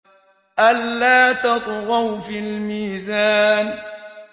أَلَّا تَطْغَوْا فِي الْمِيزَانِ